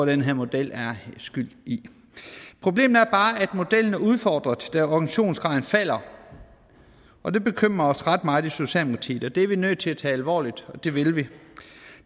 den her model er skyld i problemet er bare at modellen er udfordret da organisationsgraden falder og det bekymrer os ret meget i socialdemokratiet det er vi nødt til at tage alvorligt og det vil vi